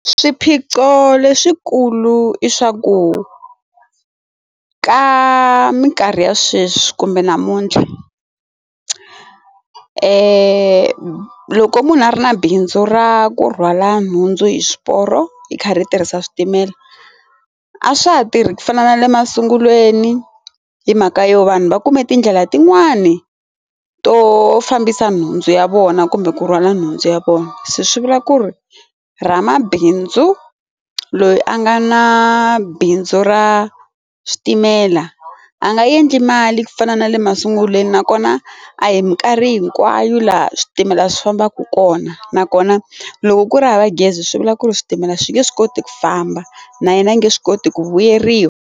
Swiphiqo leswikulu i swa ku ka minkarhi ya sweswi kumbe namuntlha loko munhu a ri na bindzu ra ku rhwala nhundzu hi swiporo yi karhi yi tirhisa switimela a swa ha tirhi ku fana na le masungulweni hi mhaka yo vanhu va kume tindlela tin'wani to fambisa nhundzu ya vona kumbe ku rhwala nhundzu ya vona se swi vula ku ri ra mabindzu loyi a nga na bindzu ra switimela a nga endli mali ku fana na le masungulweni nakona a hi minkarhi hinkwayo laha switimela swi fambaka kona nakona loko ku ri hava gezi swi vula ku ri switimela swi nge swi koti ku famba na yena a nge swi koti ku vuyeriwa.